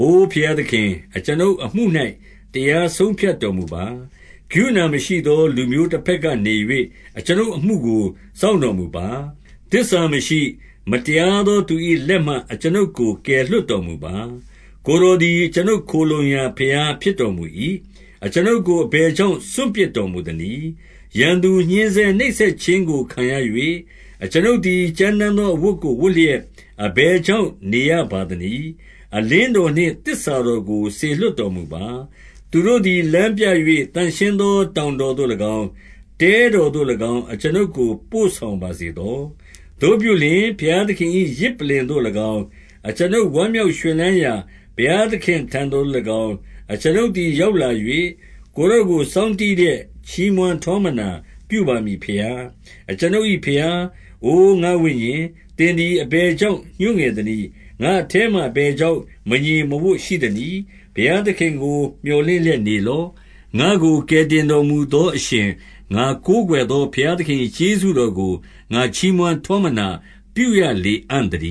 အိုဘုရားသခင်၊ အကျွန်ုပ်အမှု၌ တရားဆုံးဖြတ် တော်မူပါ။ ကရုဏာမရှိသော လူမျိုးတဘက်ကနေ၍ အကျွန်ုပ်အမှုကို စောင့်တော်မူပါ။ သစ္စာမရှိ၊ မတရား သောသူ၏လက်မှ အကျွန်ုပ်ကို ကယ်လွှတ်တော်မူပါ။ 2 ကိုယ်တော်သည် အကျွန်ုပ်ခိုလှုံရာ ဘုရား ဖြစ်တော်မူ၏။ အကျွန်ုပ်ကိုအဘယ်ကြောင့် စွန့်ပစ်တော်မူ သနည်း။ ရန်သူညှဉ်းဆဲနှိပ်စက်ခြင်းကိုခံရ၍၊ အကျွန်ုပ် သည် ကြမ်းတမ်းသော အဝတ်ကိုဝတ်လျက် အဘယ် ကြောင့် နေရပါသနည်း။ 3 အလင်းတော်နှင့်သစ္စာတော်ကို စေလွှတ်တော်မူ ပါ။ သူတို့သည် လမ်းပြ၍ သန့်ရှင်းသောတောင်တော်သို့၎င်း၊ တဲတော်သို့၎င်း အကျွန်ုပ်ကို ပို့ဆောင်ပါစေသော။ 4 သို့ပြုလျှင် ဘုရားသခင်၏ ယဇ်ပလ္လင်သို့၎င်း၊ အကျွန်ုပ် ဝမ်းမြောက်ရွှင်လန်းရာ ဘုရားသခင်ထံတော် သို့၎င်း အကျွန်ုပ်သည် ရောက်လာ၍၊ ကိုယ်တော်ကို စောင်းတီးလျက် ချီးမွမ်းထောမနာပြုပါမည်ဘုရား၊ အကျွန်ုပ်ဘုရား။ 5 အိုငါ့ဝိညာဉ်၊ သင်သည်အဘယ်ကြောင့် ညှိုးငယ် သနည်း။ ငါ့အထဲမှာအဘယ်ကြောင့် မငြိမ်မဝပ်ရှိသ နည်း။ ဘုရားသခင်ကို မြော်လင့်လျက်နေလော့။ ငါ့ကို ကယ်တင်တော်မူသောအရှင်၊ ငါကိုးကွယ်သောဘုရား သခင်၏ကျေးဇူးတော်ကို ငါချီးမွမ်းထောမနာ ပြုရလေအံ့ သတ